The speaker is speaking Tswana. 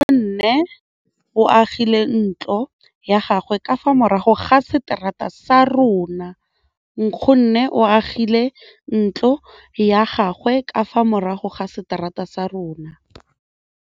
Nkgonne o agile ntlo ya gagwe ka fa morago ga seterata sa rona.